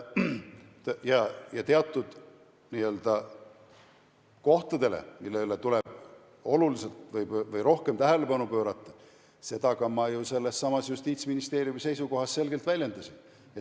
Ja teatud kohtadele tuleb oluliselt rohkem tähelepanu pöörata, seda ma ka ju sellessamas Justiitsministeeriumi seisukohas selgelt väljendasin.